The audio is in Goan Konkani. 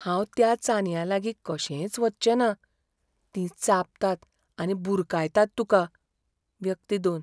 हांव त्या चानयांलागीं कशेंच वच्चेंना. तीं चाबतात आनी बुरकायतात तुका. व्यक्ती दोन